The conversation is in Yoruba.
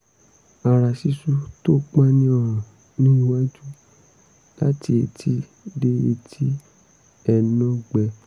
ara ṣíṣú tó pọ́n ní ọrùn ní iwájú láti etí dé etí ẹnú gbẹ